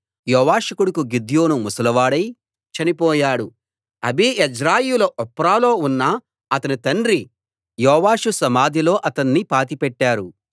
యోవాషు కొడుకు గిద్యోను ముసలివాడై చనిపోయాడు అబీయెజ్రీయుల ఒఫ్రాలో ఉన్న అతని తండ్రి యోవాషు సమాధిలో అతణ్ణి పాతిపెట్టారు